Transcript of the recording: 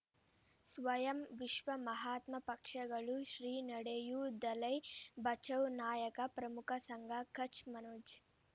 ಸ್ವಯಂ ವಿಶ್ವ ಮಹಾತ್ಮ ಪಕ್ಷಗಳು ಶ್ರೀ ನಡೆಯೂ ದಲೈ ಬಚೌ ನಾಯಕ ಪ್ರಮುಖ ಸಂಘ ಕಚ್ ಮನೋಜ್